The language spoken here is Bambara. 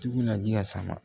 Jugu naji ka sama